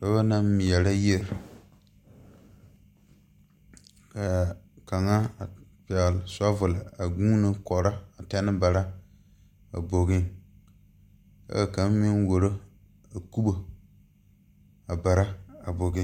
Dɔbɔ naŋ meɛrɛ yiri kaa kaŋa pɛgle shavɔl a guuno kɔrɔ a tɛne bara a bogiŋ kyɛ kaa kaŋ meŋ wuoro a kubo a bara a bogiŋ.